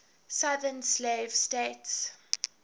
southern slave states